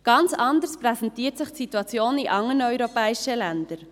Ganz anders präsentiert sich die Situation in anderen europäischen Ländern.